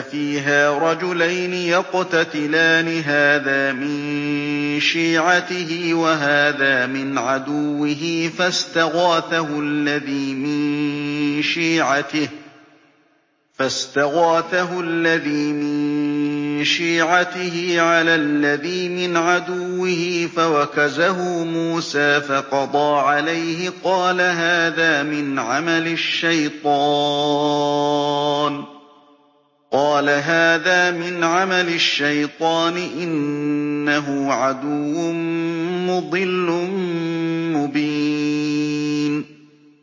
فِيهَا رَجُلَيْنِ يَقْتَتِلَانِ هَٰذَا مِن شِيعَتِهِ وَهَٰذَا مِنْ عَدُوِّهِ ۖ فَاسْتَغَاثَهُ الَّذِي مِن شِيعَتِهِ عَلَى الَّذِي مِنْ عَدُوِّهِ فَوَكَزَهُ مُوسَىٰ فَقَضَىٰ عَلَيْهِ ۖ قَالَ هَٰذَا مِنْ عَمَلِ الشَّيْطَانِ ۖ إِنَّهُ عَدُوٌّ مُّضِلٌّ مُّبِينٌ